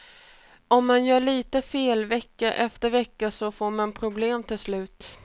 Om man gör lite fel vecka efter vecka så får man problem till slut.